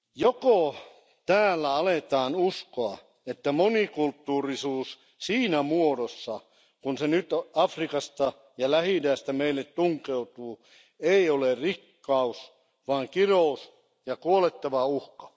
Joko täällä aletaan uskoa, että monikulttuurisuus siinä muodossa, kun se nyt Afrikasta ja Lähi-idästä meille tunkeutuu, ei ole rikkaus vaan kirous ja kuolettava uhka?